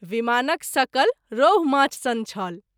विमानक सकल रहु माछ सन छल।